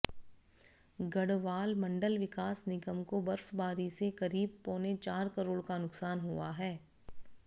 गढ़वाल मंडल विकास निगम को बर्फबारी से करीब पौने चार करोड़ का नुकसान हुआ है